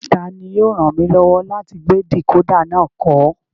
Tani yóò ràn mí lọ́wọ́ láti gbé dìkódà náà kọ́?